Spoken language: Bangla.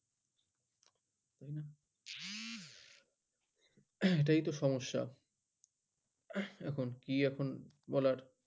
এটাই তো সমস্যা কি এখন বলার